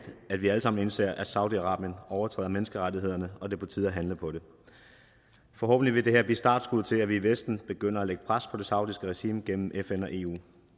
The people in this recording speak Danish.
at vi alle sammen indser at saudi arabien overtræder menneskerettighederne og det på tide at handle på det forhåbentlig vil det her blive startskuddet til at vi i vesten begynder at lægge pres på det saudiske regime gennem fn og eu